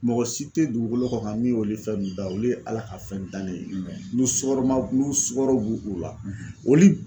Mɔgɔ si tɛ dugukolo kɔ ka min olu fɛn nunnu da olu ye ala ka fɛn dilan ne ye n'u sugaroma n'u sukaro b'u la olu.